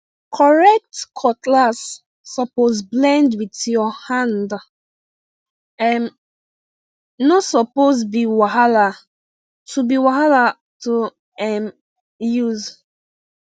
correct cutlass suppose blend with your hande um no suppose be wahala to be wahala to um use